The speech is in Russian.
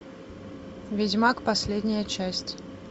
ведьмак последняя часть